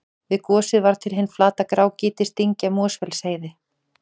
Við gosið varð til hin flata grágrýtisdyngja Mosfellsheiði.